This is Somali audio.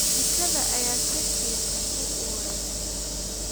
Jikada ayaa si fiican u uraysa.